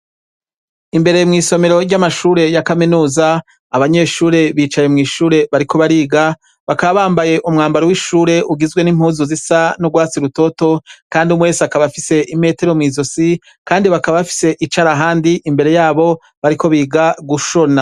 Imbere mw'isomero ry'amashure ya kaminuza, abanyeshure bicaye mw'ishuri bariko bariga, bakaba bambaye umwambaro w'ishure usa n'urwatsi rutoto, kandi umwe wese akaba afise imetero mw'izosi ,kandi bakaba bafise icarahani imbere yabo bariko biga gushona.